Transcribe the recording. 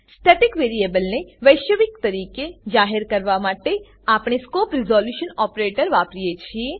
static વેરીએબલને વૈશ્વિક રીતે જાહેર કરવા માટે આપણે સ્કોપ રીઝોલ્યુશન ઓપરેટર વાપરીએ છીએ